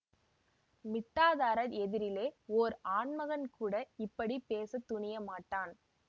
மிட்டாதாரர் எதிரிலே ஓர் ஆண் மகன் கூட இப்படி பேச துணியமாட்டான்